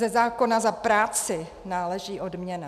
Ze zákona za práci náleží odměna.